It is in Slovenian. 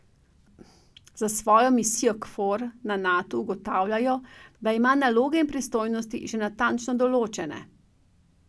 Za svojo misijo Kfor na Natu ugotavljajo, da ima naloge in pristojnosti že natančno določene.